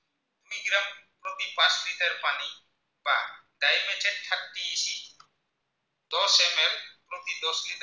দহ লিটাৰ কি